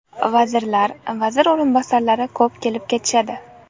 Vazirlar, vazir o‘rinbosarlari ko‘p kelib ketishadi.